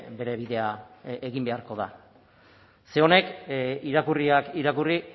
bere bidea egin beharko da ze honek irakurriak irakurri